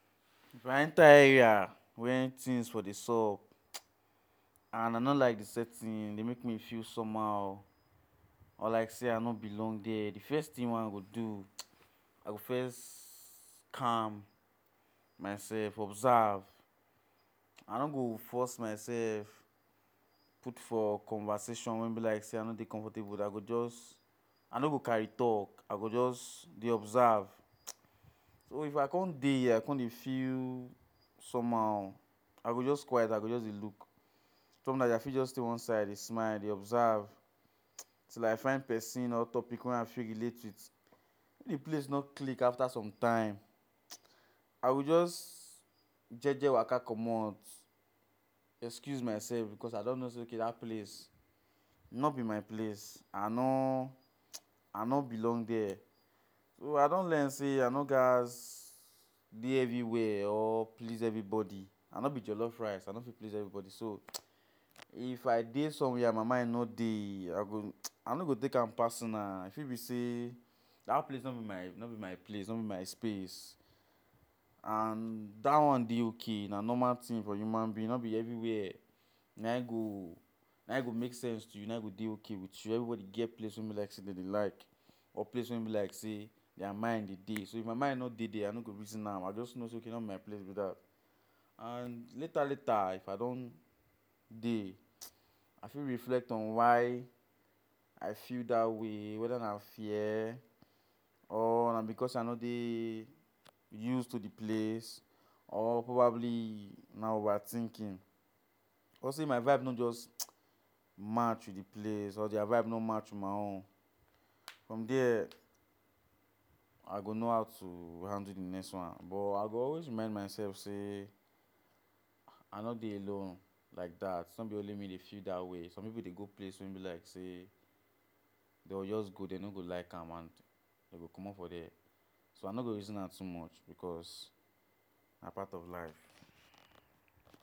If I enter area where things for dey sup, [hissing]and I no like the setting e dey make me feel somehow On like say I no belong dia, the fess thing wey I go do [hissing] I go first calm, myself, observe I no go force myself put for conversation make e no be like say I no dey comfortable, I go jus I no go carry talk, I go just dey observe [hiss] So if I come dey here I come dey feel somehow, I go just quite, I go just dey look Sometimes I fit dey one side dey smile dey observe,[hiss] till I see one pesin or topic wey I fit relate with If the place no click after sometime, [hissing] I go just jeje Waka comot Excuse myself because I know sey ok dat place no be my place I noo, I no belong dia So i don learn say I no gas dey everywhere or please everybody I no be jollof rice, I no fit please everybody So [hissing] if I dey somewhere and my mind no dey, I go, I no go take am personal E fit be sey dat place no be my no be my place, no be my space And dat one dey ok, na normal thing for human being, no be every where na im go na im go make sense to you na im go dey ok with you Everybody gets place wey be say na Im dem dey like, or place wey be like say their mind dey dey So if my mind no dey I no go reason am, I just no say ok no be my place be dat And later later if I don dey, I fit reflect on why I feel that way whether na fear or na because say I no dey use to the place or probably na over thinking Or say my vibe no just [hissing] match with the place or their vibe no match[hiss] with my own From dia I go no how to handle the next one but I go always remind myself sey I no dey alone Like that, no be only me dey feel dat way, some pipu dey go place wey be like say dem go just go dem no go like am and dem go comot for dia so I no go reason cause na part of life